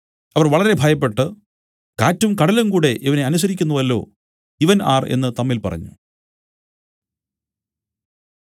അവർ വളരെ ഭയപ്പെട്ടു കാറ്റും കടലും കൂടെ ഇവനെ അനുസരിക്കുന്നുവല്ലോ ഇവൻ ആർ എന്നു തമ്മിൽ പറഞ്ഞു